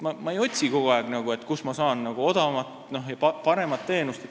Ma ei otsi kogu aeg, kust ma saan odavamat ja paremat teenust.